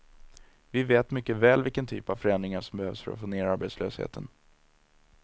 Vi vet mycket väl vilken typ av förändringar som behövs för att få ner arbetslösheten.